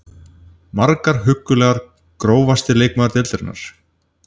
Margar huggulegar Grófasti leikmaður deildarinnar?